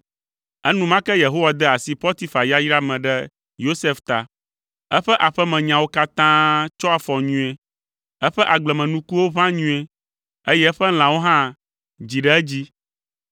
Enumake Yehowa de asi Potifar yayra me ɖe Yosef ta. Eƒe aƒemenyawo katã tsɔ afɔ nyuie; eƒe agblemenukuwo ʋã nyuie, eye eƒe lãwo hã dzi ɖe edzi,